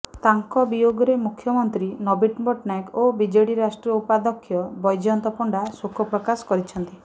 ତାଙ୍କ ବିୟୋଗରେ ମୁଖ୍ୟମନ୍ତ୍ରୀ ନବୀନ ପଟ୍ଟନାୟକ ଓ ବିଜେପି ରାଷ୍ଟ୍ରୀୟ ଉପାଧ୍ୟକ୍ଷ ବୈଜୟନ୍ତ ପଣ୍ଡା ଶୋକ ପ୍ରକାଶ କରିଛନ୍ତି